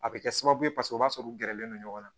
A bɛ kɛ sababu ye paseke o b'a sɔrɔ u gɛrɛlen don ɲɔgɔn na